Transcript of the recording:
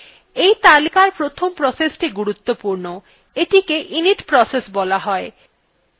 এই তালিকার প্রথম processthe গুরুত্বপূর্ণ এইটিকে init process বলা হয়